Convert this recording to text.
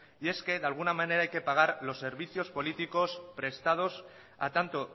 y es que de alguna manera hay que pagar los servicios políticos prestados a tanto